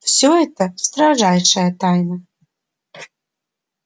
всё это строжайшая тайна